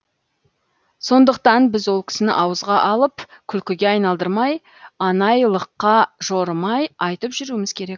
сондықтан біз ол кісіні ауызға алып күлкіге айналдырмай анайылыққа жорымай айтып жүруіміз керек